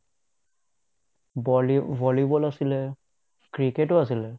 বলী volleyball আছিলে, cricket টো আছিলে